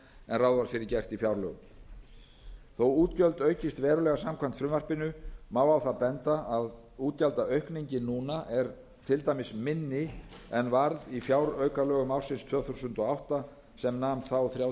ráð var fyrir gert í fjárlögum þó að útgjöld aukist verulega samkvæmt frumvarpinu má á það benda að útgjaldaaukningin núna er til dæmis minni en varð í fjáraukalögum ársins tvö þúsund og átta sem nam þá þrjátíu og þrjú